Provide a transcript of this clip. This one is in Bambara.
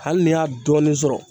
Hali ni y'a dɔɔnin sɔrɔ